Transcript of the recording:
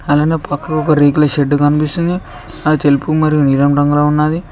అలానే పక్కన ఒక రేకుల షెడ్డు కనిపిస్తుంది అది తెలుపు మరియు నీలం రంగులో ఉంది.